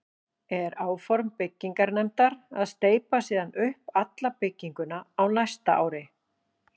Er áform byggingarnefndar að steypa síðan upp alla bygginguna á næsta ári.